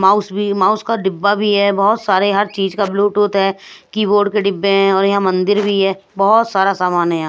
Mouse भी mouse का डिब्बा भी है बहुत सारे हर चीज का ब्लूटूथ है कीबोर्ड के डिब्बे हैं और यहां मंदिर भी है बहुत सारा सामान है यहाँ।